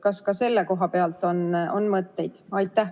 Kas ka selle koha pealt on mõtteid?